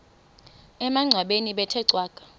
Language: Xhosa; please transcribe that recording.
emangcwabeni bethe cwaka